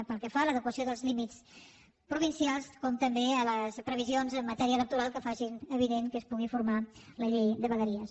pel que fa a l’adequació dels límits provincials com també a les previsions en matèria electoral que facin avinent que es pugui formar la llei de vegueries